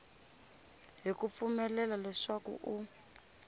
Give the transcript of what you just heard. ha ku pfumelela leswaku u